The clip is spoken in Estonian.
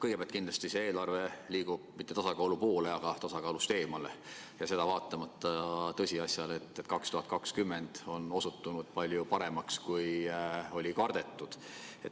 Kõigepealt, see eelarve ei liigu mitte tasakaalu poole, vaid tasakaalust eemale, vaatamata tõsiasjale, et 2020. aasta on osutunud palju paremaks, kui kardeti.